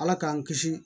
Ala k'an kisi